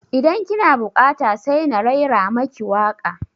Idan ki na buƙata sai na raira maki waƙa